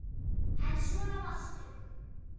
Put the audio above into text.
En svona varstu.